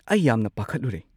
ꯑꯩ ꯌꯥꯝꯅ ꯄꯥꯈꯠꯂꯨꯔꯦ꯫